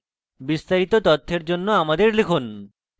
বিস্তারিত তথ্যের জন্য আমাদের লিখুন